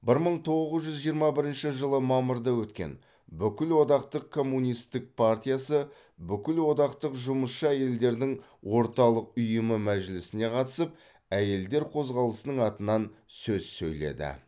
бір мың тоғыз жүз жиырма бірінші жылы мамырда өткен бүкілодақтық коммунистік партиясы бүкілодақтық жұмысшы әйелдердің орталық ұйымы мәжілісіне қатысып әйелдер қозғалысының атынан сөз сөйледі